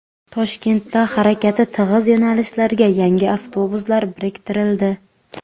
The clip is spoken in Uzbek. Toshkentda harakati tig‘iz yo‘nalishlarga yangi avtobuslar biriktirildi.